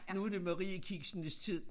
Nu det mariekiksenes tid